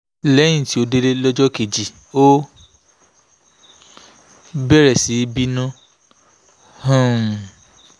lẹ́yìn tó délé lọ́jọ́ kejì ó bẹ̀rẹ̀ sí í bínú um